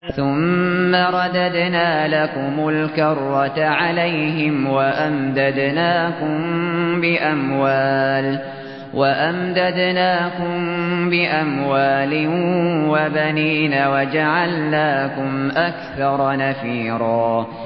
ثُمَّ رَدَدْنَا لَكُمُ الْكَرَّةَ عَلَيْهِمْ وَأَمْدَدْنَاكُم بِأَمْوَالٍ وَبَنِينَ وَجَعَلْنَاكُمْ أَكْثَرَ نَفِيرًا